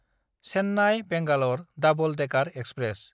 चेन्नाय–बेंगालर double decker express